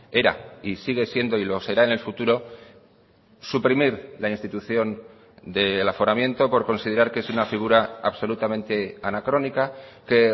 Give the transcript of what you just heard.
era y sigue siendo y lo será en el futuro suprimir la institución del aforamiento por considerar que es una figura absolutamente anacrónica que